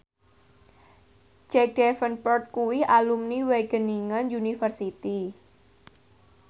Jack Davenport kuwi alumni Wageningen University